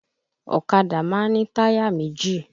Ọ̀kadà má ń ní táyà méjì